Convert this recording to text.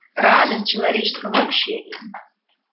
радость человеческого общения